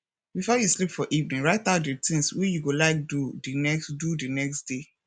before you sleep for evening write out di things wey you go like do di next do di next day